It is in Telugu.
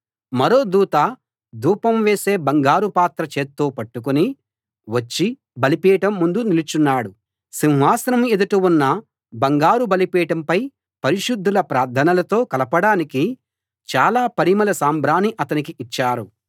మరో దూత ధూపం వేసే బంగారు పాత్ర చేత్తో పట్టుకుని వచ్చి బలిపీఠం ముందు నిలుచున్నాడు సింహాసనం ఎదుట ఉన్న బంగారు బలిపీఠంపై పరిశుద్ధుల ప్రార్థనలతో కలపడానికి చాలా పరిమళ సాంబ్రాణి అతనికి ఇచ్చారు